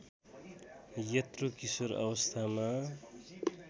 यत्रो किशोर अवस्थामा